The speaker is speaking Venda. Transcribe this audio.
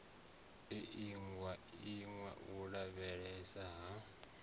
iingwa iwa u lavheieswa ha